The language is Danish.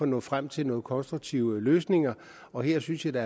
nå frem til nogle konstruktive løsninger og jeg synes at der